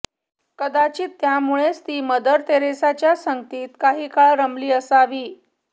कदाचित त्यामुळेच ती मदर तेरेसांच्या संगतीत काही काळ रमली असावी